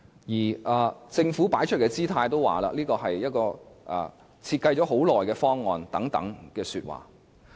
而政府擺出的姿態，也說這是一個已經設計了很長時間的方案。